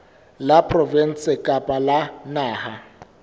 la provinse kapa la naha